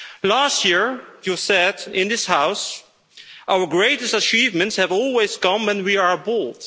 Last year you said in this House our greatest achievements have always come when we are bold.